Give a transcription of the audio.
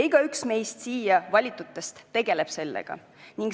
Igaüks meist siia valitutest tegeleb sellega.